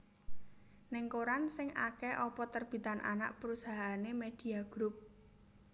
Ning koran sing ake opo terbitan anak perusahaane Media Group